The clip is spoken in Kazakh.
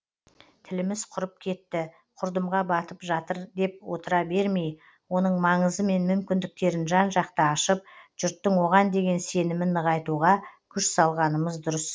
тіліміз құрып кетті құрдымға батып жатыр деп отыра бермей оның маңызы мен мүмкіндіктерін жан жақты ашып жұрттың оған деген сенімін нығайтуға күш салғанымыз дұрыс